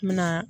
N bɛna